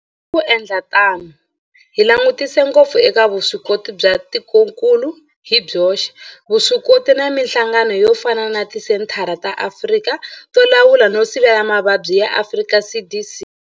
Hi ku endla tano hi langutisa ngopfu eka vuswikoti bya tikokulu hi byoxe, vuswikoti na mihlangano yo fana na Tisenthara ta Afrika to Lawula no Sivela Mavabyi ya Afrika CDC.